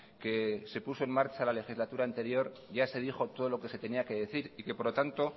que se puso en marcha la legislatura anterior ya se dijo todo lo que se tenía que decir y que por lo tanto